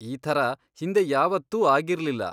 ಈ ಥರ ಹಿಂದೆ ಯಾವತ್ತೂ ಆಗಿರ್ಲಿಲ್ಲ.